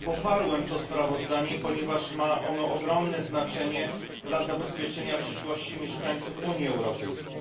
Poparłem to sprawozdanie, ponieważ ma ono ogromne znaczenie dla zabezpieczenia przyszłości mieszkańców Unii Europejskiej.